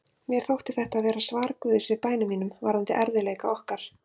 Mér þótti þetta vera svar Guðs við bænum mínum varðandi erfiðleika okkar.